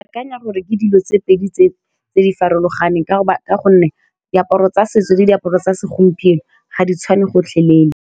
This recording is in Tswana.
Ke akanya gore ke dilo tse pedi tse di farologaneng ka gonne diaparo tsa setso le diaparo tsa segompieno ga di tshwane gotlhelele.